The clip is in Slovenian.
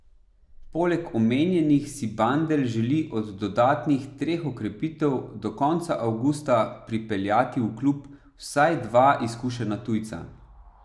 Poleg omenjenih si Bandelj želi od dodatnih treh okrepitev do konca avgusta pripeljati v klub vsaj dva izkušena tujca.